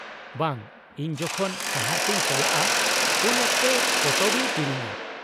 -ᱵᱟᱝ, ᱤᱧ ᱡᱚᱠᱷᱚᱱ ᱥᱟᱦᱟᱨ ᱛᱮᱧ ᱪᱟᱞᱟᱜᱼᱟ ᱩᱱ ᱚᱠᱛᱮ ᱯᱚᱛᱚᱵ ᱤᱧ ᱠᱤᱨᱤᱧᱟ ᱾